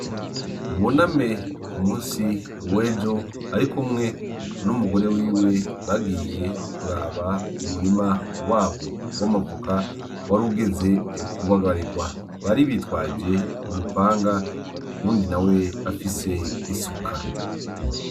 Buname ku musi w'ejo ari kumwe n'umugore wiwe bagiye kuraba umurima wabo w'amavoka warugeze ku bagarigwa bari bitwaje umupanga uwundi nawe afise isuka.